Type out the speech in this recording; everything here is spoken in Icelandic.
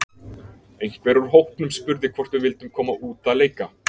Einhver úr hópnum spurði hvort við vildum koma út að leika.